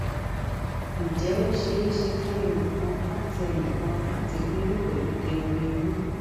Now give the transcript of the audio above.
ǹjẹ ó ṣeé ṣe fún ẹnì kan láti ẹnì kan láti lóyún pelu kengbe inu